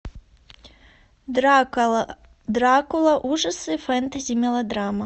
дракула ужасы фэнтези мелодрама